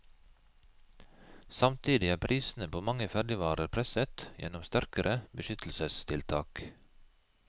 Samtidig er prisene på mange ferdigvarer presset gjennom sterkere beskyttelsestiltak.